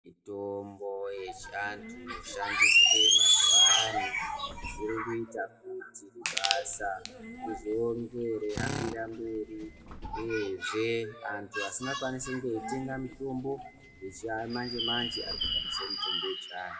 Mitombo yechiantu inoshandiswe mazuva ano irikuita kuti basa rizonge reihambira mberi uyezve antu asikakwanisi kunge eitenga mutombo yechimanje manje arikushandisa mutombo wechiantu.